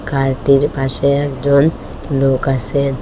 কারটির পাশে একজন লোক আসে।